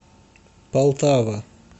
полтава